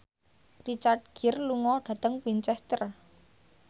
Richard Gere lunga dhateng Winchester